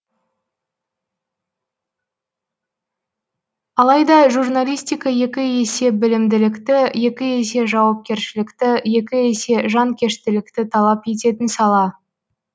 алайда журналистика екі есе білімділікті екі есе жауапкершілікті екі есе жанкештілікті талап ететін сала